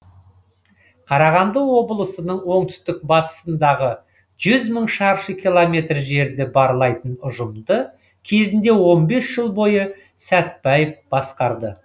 қарағанды облысының оңтүстік батысындағы жүз мың шаршы километр жерді барлайтын ұжымды кезінде он бес жыл бойы сәтбаев басқарды